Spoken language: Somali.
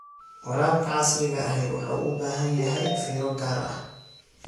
Waraabka casriga ahi wuxuu u baahan yahay fiiro gaar ah.